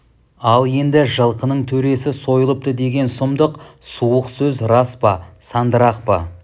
ал енді жылқының төресі сойылыпты деген сұмдық суық сөз рас па сандырақ па